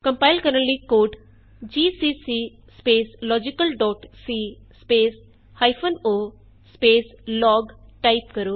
compile ਕਰਨ ਲਈ code GCC logicalਸੀ o ਲੋਗ ਟਾਈਪ ਕਰੋ